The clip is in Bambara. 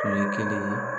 Tun ye kelen ye